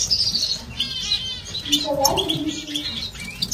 николай гришин